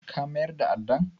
Ka mayar da addan?